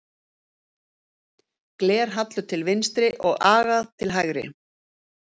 Glerhallur til vinstri og agat til hægri.